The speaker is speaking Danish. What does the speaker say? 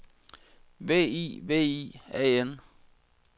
V I V I A N